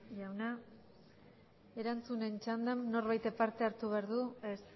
jauna erantzunen txandan norbaitek parte hartu behar du ez